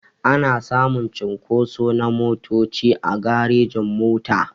Ana samun cunkoso na motoci a garejin-mota.